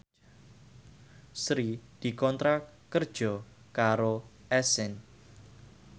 Sri dikontrak kerja karo Accent